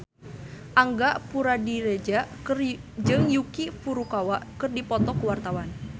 Angga Puradiredja jeung Yuki Furukawa keur dipoto ku wartawan